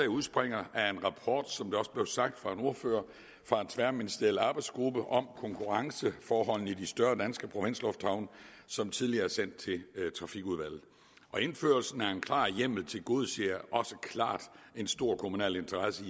udspringer som det også blev sagt af en ordfører fra en tværministeriel arbejdsgruppe om konkurrenceforholdene i de større danske provinslufthavne som tidligere er sendt til trafikudvalget indførelsen af en klar hjemmel tilgodeser også klart en stor kommunal interesse i